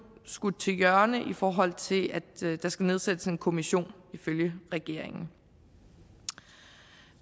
skudt til hjørne i forhold til at der skal nedsættes en kommission ifølge regeringen